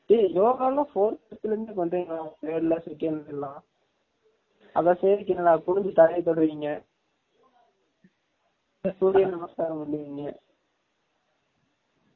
டெய் யோகா லா fourth ல இருந்து பன்ரிங்கல டா third ல second ல , அத செய்ரதுக்கு என்ன ட குனின்சு தரைய தொடுவிங்க சுரிய நமஸ்காரம் பன்வீங்க